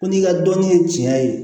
Ko n'i ka dɔnni ye tiɲɛ ye